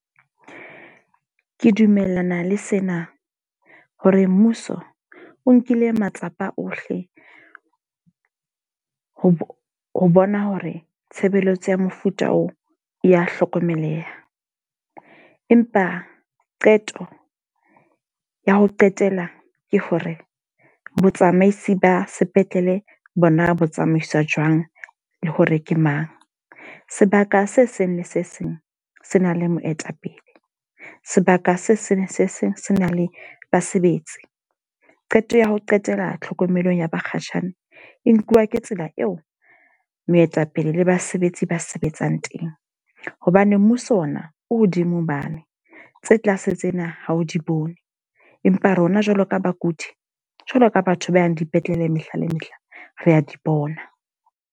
Ke dumellana le sena, hore mmuso o nkile matsapa ohle ho bona hore tshebeletso ya mofuta oo ya hlokomeleha. Empa qeto ya ho qetela ke hore botsamaisi ba sepetlele bona bo tsamaiswa jwang, le hore ke mang? Sebaka se seng le se seng se na le moetapele. Sebaka se seng se seng se na le basebetsi. Qeto ya ho qetela tlhokomelong ya bakgatjhane, e nkuwa ke tsela eo moetapele le basebetsi ba sebetsang teng. Hobane mmuso ona, o hodimo mane. Tse tlase tsena ha o di bone. Empa rona jwalo ka bakudi, jwalo ka batho ba yang dipetlele mehla le mehla, re a di bona.